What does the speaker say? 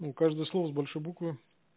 ну каждое слово с большой буквы